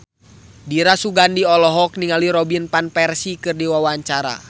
Dira Sugandi olohok ningali Robin Van Persie keur diwawancara